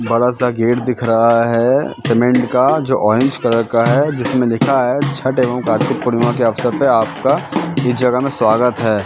बड़ासा गेट दिख रहा है सीमेंट का जो ऑरेंज कलर का हैं जिसमें लिखा है छठ एवं कार्तिक पूर्णिमा के अवसर पर आपका इस जगह में स्वागत है।